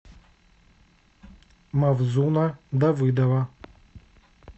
мавзуна давыдова